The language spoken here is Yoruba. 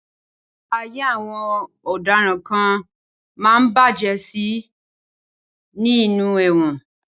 Ayé àwọn ọ̀daràn kan máa ń bàjẹ́ sí i ni nínú ẹ̀wọ̀n.